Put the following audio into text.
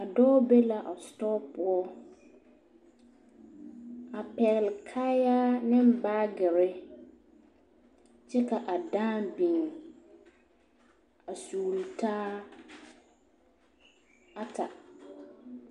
A dɔɔ be la a o sitɔɔ poɔ a pɛgle kaayaa ne baagere kyɛ ka a dãã biŋ a sugli taa ata.